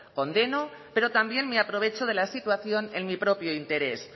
condeno pero también me aprovecho de la situación en mi propio interés